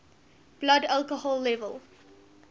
blood alcohol level